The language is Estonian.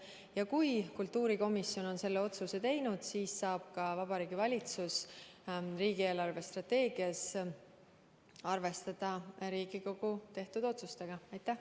Ja kui kultuurikomisjon on selle otsuse teinud, siis saab Vabariigi Valitsus riigi eelarvestrateegiat koostades selle Riigikogu tehtud otsusega arvestada.